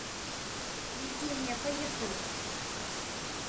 евгения поехали